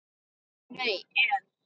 Nei en.